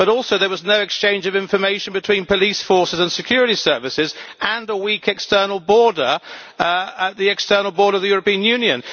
But also there was no exchange of information between police forces and security services and a weak external border of the European Union.